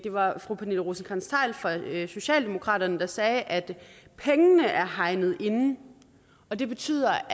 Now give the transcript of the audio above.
var fru pernille rosenkrantz theil fra socialdemokraterne der sagde at pengene er hegnet ind og det betyder